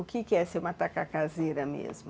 O que que é ser uma tacacazeira mesmo?